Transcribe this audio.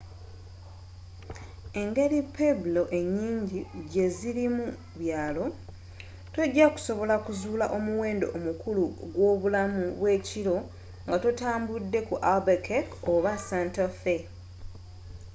engeri pueblo enyingi gyezirimu byalo tojakusobola kuzuula omuwendo omukulu ogw'obulamu bw'ekiro nga totambudde ku albuquerque oba santa fe